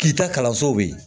K'i ta kalanso bɛ yen